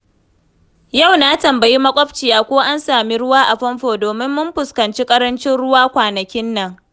Yau na tambayi maƙwabciya ko an sami ruwa a famfo domin mun fuskanci ƙarancin ruwa kwanakin nan.